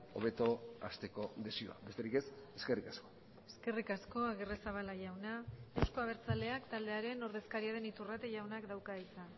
hobeto hasteko desioa besterik ez eskerrik asko eskerrik asko agirrezabala jauna euzko abertzaleak taldearen ordezkaria den iturrate jaunak dauka hitza